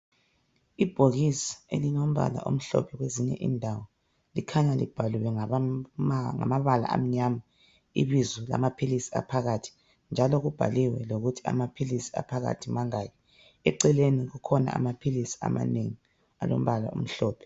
Ibhokisi elilompala omhlophe kwezinye indawo likhanya libhaliwe ngamabala amnyama ibizo lamaphilisi aphakathi njalo kubhaliwe lokuthi amaphilisi aphakathi mangaki eceleni kukhona amphilisi amanengi alompala omhlophe.